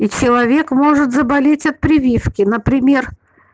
и человек может заболеть от прививки например